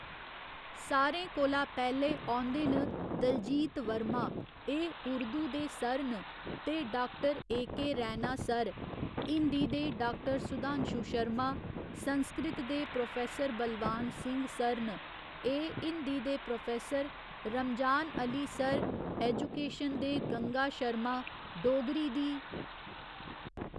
सारें कोला पैह्‌लें आंदे न दलजीत वर्मा एह् उर्दूं दे सर न ते doctor A K Raina sir Hindi दे डाक्टर सुधांशु शर्मा संस्कृत दे प्रौफैसर बलवान सिंह सर न एह् हिंदी दे professor Ramzan Ali sir education दे गंगा शर्मा डोगरी दी